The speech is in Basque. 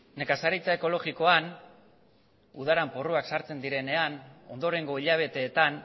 nekazaritza ekologikoan udan porruak sartzen direnean ondorengo hilabeteetan